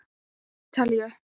Til Ítalíu!